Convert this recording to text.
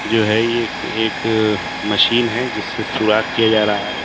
जो है ये एक एक मशीन है जिससे सुराख किया जा रहा है।